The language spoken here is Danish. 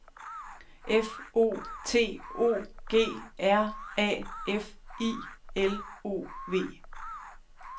F O T O G R A F I L O V